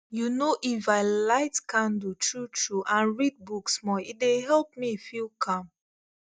you know if i light candle truetrue and read book small e dey help me feel calm